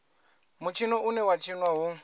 mutshino une wa tshinwa hu